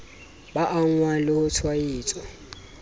ba angwang le ho tshwaetswa